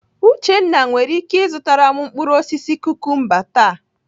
Uchenna nwere ike ịzụtara m mkpụrụ osisi kukumba taa.